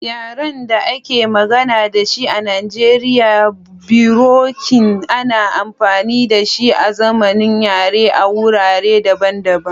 Yaren da ake magana da shi a Najeriya, birokin ana amfani da shi azaman yare a wurare daban-daban.